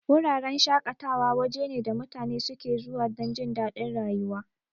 Wuraren shaƙatawa waje ne da mutane suke zuwa dan jindadin rayuwa.